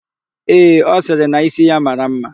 Ee, ọ sịrị na ísí ya mara ḿmá.